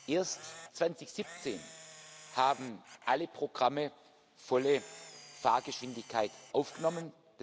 Erst 2017 haben alle Programme volle Fahrgeschwindigkeit aufgenommen.